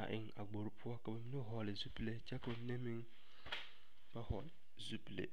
a eŋ a gbori poɔ ka bamine hɔɔle zupile kyɛ ka bamine meŋ ba hɔɔle zupile.